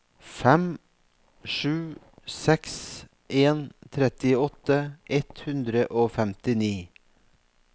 fem sju seks en trettiåtte ett hundre og femtini